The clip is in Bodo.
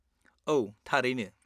-औ, थारैनो।